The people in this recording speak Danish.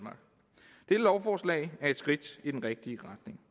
lovforslag er et skridt i den rigtige retning